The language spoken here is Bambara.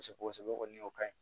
Kosɛbɛ kosɛbɛ o ka ɲi